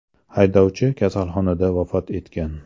Haydovchi kasalxonada vafot etgan.